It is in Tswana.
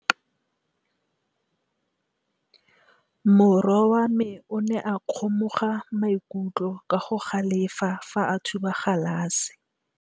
Morwa wa me o ne a kgomoga maikutlo ka go galefa fa a thuba galase.